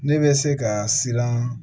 Ne bɛ se ka siran